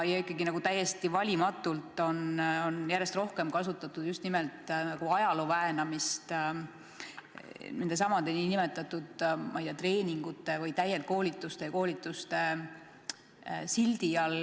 Ikkagi on täiesti valimatult järjest rohkem kasutatud just nimelt ajalooväänamist nendesamade nimetatud treeningute või täienduskoolituste ja koolituste sildi all.